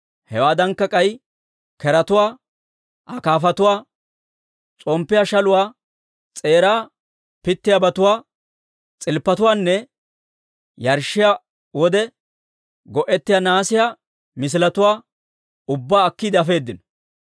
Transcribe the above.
Hewaadankka k'ay keretuwaa, akaafatuwaa, s'omppiyaa shaluwaa s'eeraa pittiyaabatuwaa, c'ilppatuwaanne yarshshiyaa wode go'ettiyaa nahaasiyaa miishshatuwaa ubbaa akkiide afeedino.